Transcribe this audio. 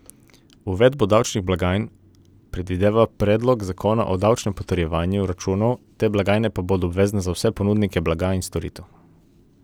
Uvedbo davčnih blagajn predvideva predlog zakona o davčnem potrjevanju računov, te blagajne pa bodo obvezne za vse ponudnike blaga in storitev.